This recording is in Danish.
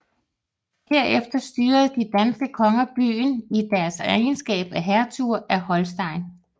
Herefter styrede de danske konger byen i deres egenskab af hertuger af Holsten